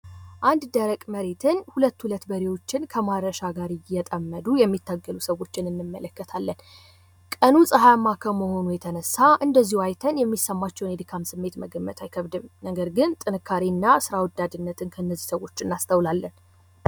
1 ደረቅ መሬትን ሁለት ሁለት በሬዎችን ከአማረሻ ጋር እየተጣመዱ የሚታገሉ ሰዎች እንመለከታለን። ቀኑን ፀሐያማ ከመሆኑ የተነሳ፤ እንደዚሁ አይተን የሚሰማቸውን የድካም ስሜት መገመት አይከብድም። ነገር ግን ጥንካሬና ስራ ወዳጅነትን ከእነዚህ ሰዎች እናስተውላለን።